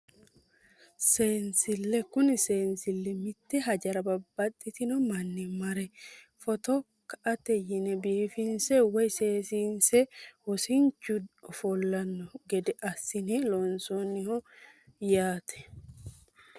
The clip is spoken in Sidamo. Seensille kuni seensille mitte hajara babbaxxino manni mare footo ka"ate yine biifinse woyi seesiinse wosinchu ofollanno gede assine loonsoonniho yaate